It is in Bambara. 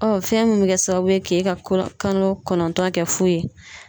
fɛn min bɛ kɛ sababu ye k'e ka ko kalo kɔnɔntɔn kɛ fu ye.